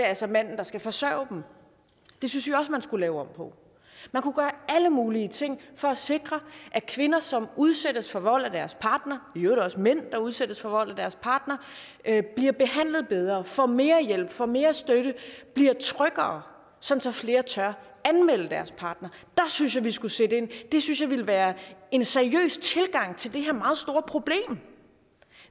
altså manden der skal forsørge dem det synes vi også at man skulle lave om på man kunne gøre alle mulige ting for at sikre at kvinder som udsættes for vold af deres partner og i øvrigt også mænd der udsættes for vold af deres partner bliver behandlet bedre får mere hjælp får mere støtte og bliver tryggere sådan at flere tør anmelde deres partner der synes jeg vi skulle sætte ind det synes jeg ville være en seriøs tilgang til det her meget store problem